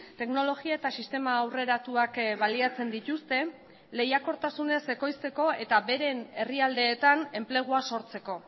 teknologia eta sistema aurreratuak baliatzen dituzte lehiakortasunez ekoizteko eta beren herrialdeetan enplegua sortzeko